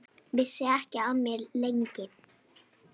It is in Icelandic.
Vissi ekki af mér, lengi.